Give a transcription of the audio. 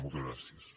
moltes gràcies